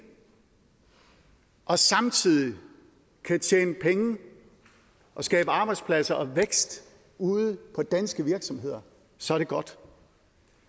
og samtidig kan tjene penge og skabe arbejdspladser og vækst ude i danske virksomheder så er det godt